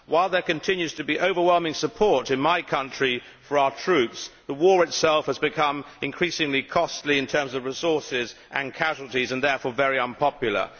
While there continues to be overwhelming support in my country for our troops, the war itself has become increasingly costly in terms of resources and casualties and therefore very unpopular.